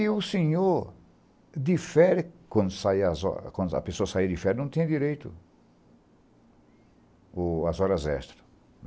E o senhor, de férias, quando saía as hora quando a pessoa saía de férias, não tinha direito o às horas extras.